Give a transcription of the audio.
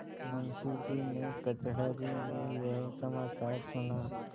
मुंशीजी ने कचहरी में यह समाचार सुना